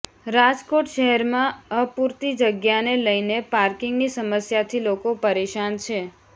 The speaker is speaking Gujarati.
રાજકોટ શહેરમાં અપૂરતી જગ્યાને લઈને પાર્કિંગની સમસ્યાથી લોકો પરેશાન છે